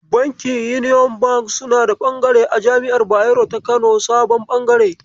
Bankin Union Bank suna da bangare a Jami'ar Bayero ta Kano sabon bangare.